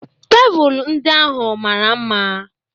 Tebụl ndị ahụ mara mma.